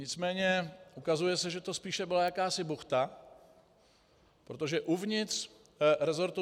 Nicméně se ukazuje, že to spíše byla jakási buchta, protože uvnitř resortu